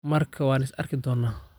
Markaa waan is arki doonnaa